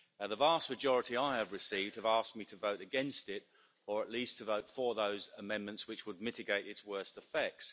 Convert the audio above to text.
The vast majority I have received have asked me to vote against it or at least to vote for those amendments which would mitigate its worst effects.